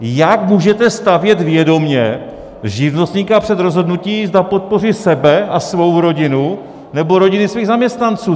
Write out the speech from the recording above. Jak můžete stavět vědomě živnostníka před rozhodnutí, zda podpoří sebe a svou rodinu, nebo rodiny svých zaměstnanců?